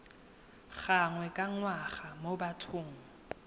gangwe ka ngwaga mo bathong